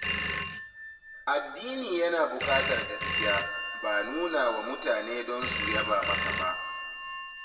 Addini yana buƙatar gaskiya, ba nuna wa mutane don su yaba maka ba.